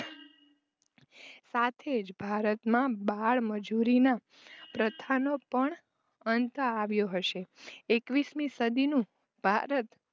સાથે જ ભારતમાં બાળમજૂરીના પ્રથાનો પણ અંત આવ્યો હશે. એકવીશમી સદીનું ભારત